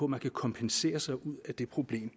man kan kompensere sig ud af det problem